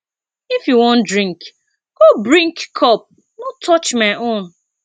if you wan drink go brink cup no touch my own